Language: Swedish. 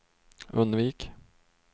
undvik